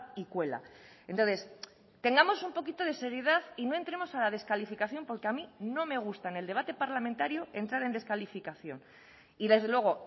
y cuela entonces tengamos un poquito de seriedad y no entremos a la descalificación porque a mí no me gusta en el debate parlamentario entrar en descalificación y desde luego